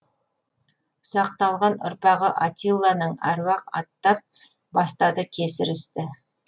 ұсақталған ұрпағы атилланың әруақ аттап бастады кесір істі